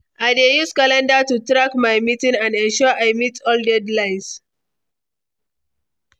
I dey use calendar to track my meetings and ensure I meet all deadlines.